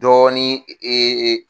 Dɔɔnin